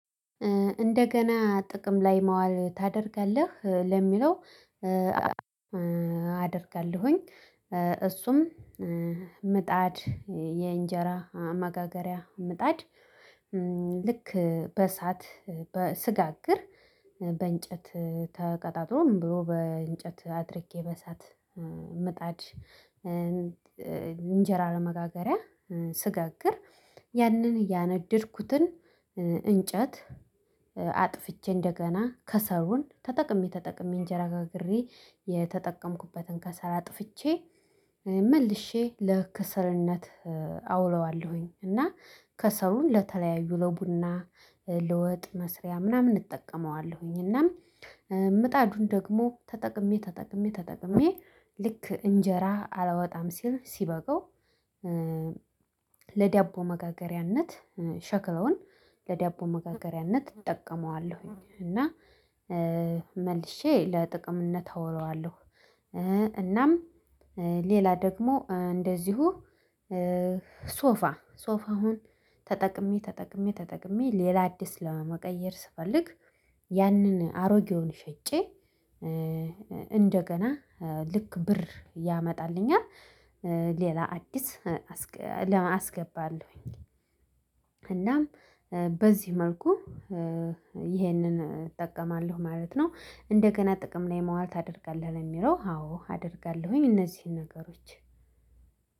እንደገና ጥቅም ላይ ማዋል ታደርጋለህ ለሚለው? አደርጋለሁኝ። እሱም ምጣድ የእንጀራ መጋገሪያ ምጣድ። ልክ በእሳት በ ስጋግር በእንጨት ተቀጣጥሎም ብሎ በእንጨት አድርጌ በእሳት ምጣድ። እንጀራ ለመጋገሪያ ስጋግር ያንን ያነደድኩትን እንጨት እንደገና ከሰሉን ተጠቅሜ ተጠቅሜ እንጀራ ጋግሬ የተጠቀምኩበትን ከሰል አጥፍቼ መልሼ ለክሰልነት አውለዋለሁኝ። እና ከሰሉን ለተለያዩ ለቡና ለወጥ መስሪያ ምናምን እጠቀመዋለሁኝ። እና ምጣዱን ደግሞ ተጠቅሜ ተጠቅሜ ተጠቅሜ ልክ እንጀራ አላወጣም ሲል ሲበቃው ለዳቦ መጋገሪያነት ሸክለውን ለዳቦ መጋገሪያነት እጠቀመዋለሁኝ። እና መልሼ ለጥቅምነት አውለዋለሁ። እናም ሌላ ደግሞ እንደዚሁ። ሶፋ ሶፋውን ተጠቅሜ ተጠቅሜ ተጠቅሜ ሌላ አዲስ ለመቀየር ስፈልግ ያንን አሮጌውን ሸጬ እንደገና ልክ ብር ያመጣልኛል። ሌላ አዲስ አስገባለሁኝ። እናም በዚህ መልኩ ይሄንን እጠቀማለሁ ማለት ነው። እንደገና ጥቅም ላይ ማዋል ታደርጋለህ ለሚለው? አዎ አደርጋለሁኝ እነዚህን ነገሮች።